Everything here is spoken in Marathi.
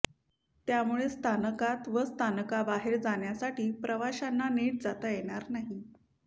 त्यामुळे स्थानकात व स्थानकाबाहेर जाण्यासाठी प्रवाशांना नीट जाता येणार आहे